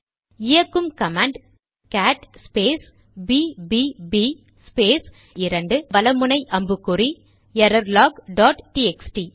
இயக்கும் command cat space பிபிபிbbb space 2 வல அம்புக்குறி எரர்லாக் டாட் டிஎக்ஸ்டி